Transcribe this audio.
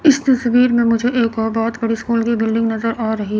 इस तस्वीर में मुझे एक और बहोत बड़ी स्कूल की बिल्डिंग नजर आ रही--